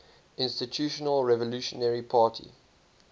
institutional revolutionary party